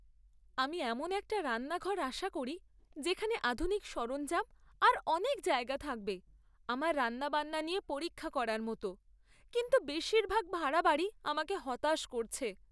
আমি এমন একটা রান্নাঘর আশা করি যেখানে আধুনিক সরঞ্জাম আর অনেক জায়গা থাকবে আমার রান্নাবান্না নিয়ে পরীক্ষা করার মতো, কিন্তু বেশিরভাগ ভাড়া বাড়ি আমাকে হতাশ করছে।